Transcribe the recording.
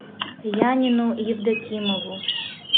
янину евдокимову